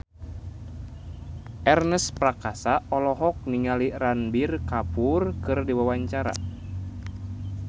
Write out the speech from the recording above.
Ernest Prakasa olohok ningali Ranbir Kapoor keur diwawancara